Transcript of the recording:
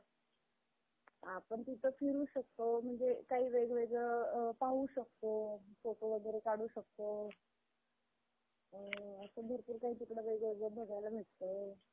आपण तिथे फिरू शकतो म्हणजे काही वेगवेगळं पाहू शकतो. photo वगैरे काढू शकतो. असं भरपूर काही वेगवेगळं तिकडं बघायला भेटतंय.